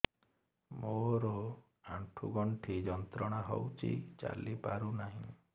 ମୋରୋ ଆଣ୍ଠୁଗଣ୍ଠି ଯନ୍ତ୍ରଣା ହଉଚି ଚାଲିପାରୁନାହିଁ